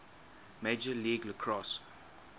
major league lacrosse